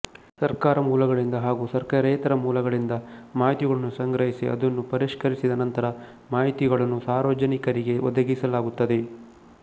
ಸರ್ಕಾರ ಮೂಲಗಳಿಂದ ಹಾಗೂ ಸರ್ಕಾರೇತರ ಮೂಲಗಳಿಂದ ಮಾಹಿತಿಗಳನ್ನು ಸಂಗ್ರಹಿಸಿ ಅದನ್ನು ಪರಿಷ್ಕರಿಸಿದ ನಂತರ ಮಾಹಿತಿಗಳನ್ನು ಸಾರ್ವಜನಿಕರಿಗೆ ಒದಗಿಸಲಾಗುತ್ತದೆ